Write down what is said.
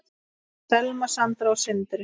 Selma, Sandra og Sindri.